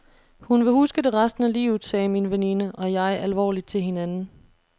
Hun vil huske det resten af livet, sagde min veninde og jeg alvorligt til hinanden.